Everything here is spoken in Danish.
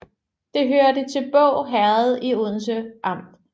Det hørte til Båg Herred i Odense Amt